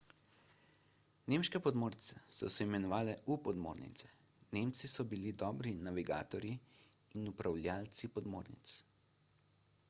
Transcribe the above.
nemške podmornice so se imenovale u-podmornice nemci so bili dobri navigatorji in upravljavci podmornic